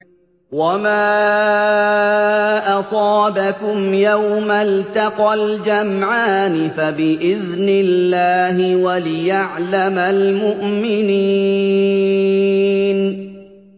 وَمَا أَصَابَكُمْ يَوْمَ الْتَقَى الْجَمْعَانِ فَبِإِذْنِ اللَّهِ وَلِيَعْلَمَ الْمُؤْمِنِينَ